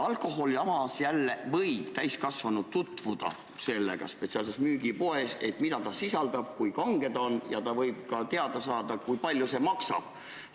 Alkoholiga võib täiskasvanu tutvuda spetsiaalses müügipoes, et näha, mida see sisaldab, kui kange see on, ja ta võib ka teada saada, kui palju see maksab.